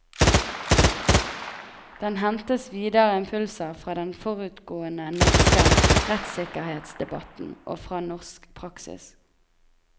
Den hentet videre impulser fra den forutgående norske rettssikkerhetsdebatten, og fra norsk praksis.